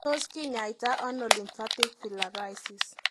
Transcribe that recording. Tos kinyaita ono lymphatic filariasis?